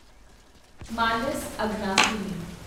Manas Aghanashini